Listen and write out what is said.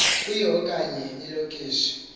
kuyo okanye ilokishi